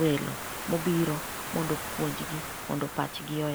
welo mobiro mondo opuonjgi mondo pachgi oyawre.